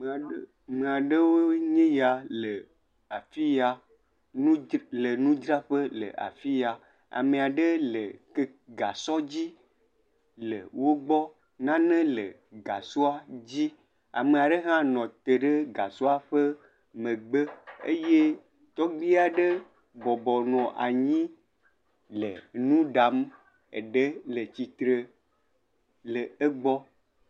Ame aɖewo ye nye ya le afi ya, nu dzraƒe, le nudzraƒe le afiya. Ame aɖe le keke, gasɔ dzi le wogbɔ, nane le gasɔa dzi. Ame ɖe hã nɔte ɖe gasɔa ƒe megbe eye tɔgbuia ɖe bɔbɔ nɔ anyi le nuɖam eɖe le tsitre le egbɔ.